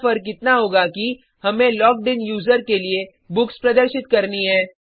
यहाँ फर्क इतना होगा कि हमें लॉग्ड इन यूज़र के लिए बुक्स प्रदर्शित करनी हैं